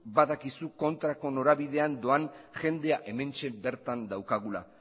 badakizu kontrako norabidean doan jendea hementxe bertan daukagula